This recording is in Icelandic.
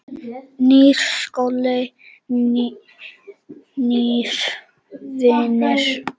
Nýr skóli, nýir vinir.